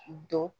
Don